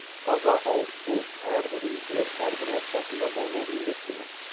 таза ауызсу әрбір үйде әрбір отбасында болуы міндет деген